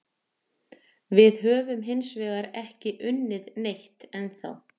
Við höfum hinsvegar ekki unnið neitt ennþá.